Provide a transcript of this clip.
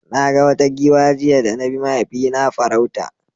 Na ga wata giwa jiya da na bi mahaifina farauta.